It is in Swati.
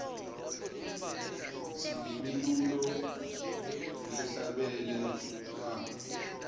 sinemilulo lehla bele lwako